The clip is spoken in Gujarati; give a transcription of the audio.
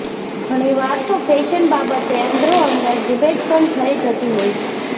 ઘણીવાર તો ફેશન બાબતે અંદરોઅંદર ડિબેટ પણ થઇ જતી હોય છે